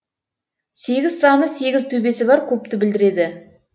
сегіз саны сегіз төбесі бар кубты білдіреді